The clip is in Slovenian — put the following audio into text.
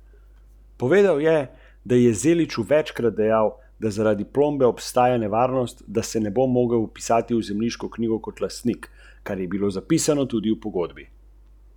Jaz sem svoje opravil za danes.